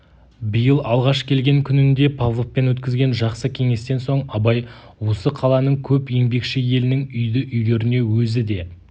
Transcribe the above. биыл алғаш келген күнінде павловпен өткізген жақсы кеңестен соң абай осы қаланың көп еңбекші елінің үйді-үйлеріне өзі де